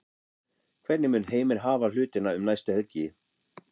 Hvernig mun Heimir hafa hlutina um næstu helgi?